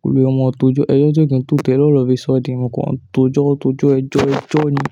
Kólúẹ̀ ó mọ tójọ́ ẹjọ́ tío kiǹ tó Tẹ́lè ọ́lọ̀ọ́fi sọ́din a ǹkan tó jọ́ tó jọ́ ẹjọ́ ẹjọ́ ni.